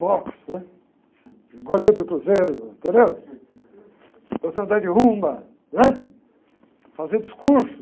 boxe, né? Goleiro do Cruzeiro, entendeu? de rumba, né? Fazia discurso.